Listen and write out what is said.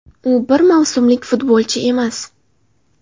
U bir mavsumlik futbolchi emas.